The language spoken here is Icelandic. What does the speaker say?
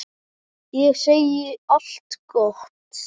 Ég segi allt gott.